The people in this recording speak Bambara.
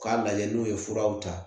K'a lajɛ n'u ye furaw ta